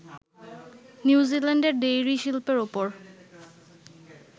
নিউজিল্যান্ডের ডেইরি শিল্পের ওপর